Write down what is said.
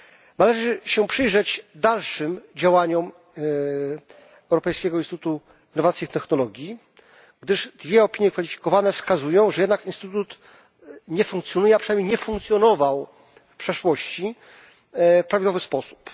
Należy się przyjrzeć dalszym działaniom Europejskiego Instytutu Innowacji i Technologii, gdyż dwie opinie kwalifikowane wskazują, że jednak instytut nie funkcjonuje, a przynajmniej nie funkcjonował w przeszłości, w prawidłowy sposób.